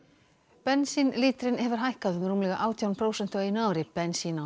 bensínlítrinn hefur hækkað um rúmlega átján prósent á einu ári bensín á